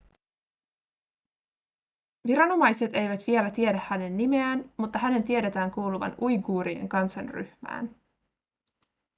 viranomaiset eivät vielä tiedä hänen nimeään mutta hänen tiedetään kuuluvan uiguurien kansanryhmään